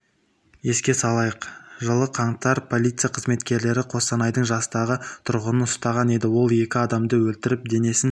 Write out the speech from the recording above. еске салайық жылы қаңтар полиция қызметкерлері қостанайдың жастағы тұрғынын ұстаған еді ол екі адамды өлтіріп денесін